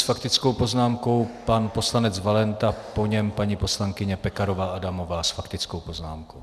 S faktickou poznámkou pan poslanec Valenta, po něm paní poslankyně Pekarová Adamová s faktickou poznámkou.